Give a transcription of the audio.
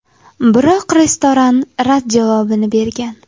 Biroq restoran rad javobini bergan.